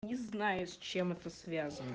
не знаю с чем это связано